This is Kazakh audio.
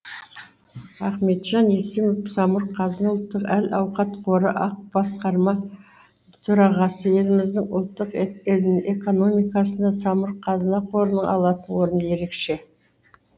ахметжан есімов самұрық қазына ұлттық әл ауқат қоры ақ басқарма төрағасы еліміздің ұлттық экономикасында самұрық қазына қорының алатын орны ерекше